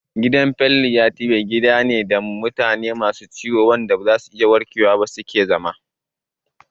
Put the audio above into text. Gidan Falliyatibe kiya gida ne da mutane masu ciwon da ba za su warke ba su ke zama